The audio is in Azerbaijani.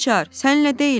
Gülaçar, sənlə deyiləm?